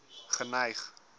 geneig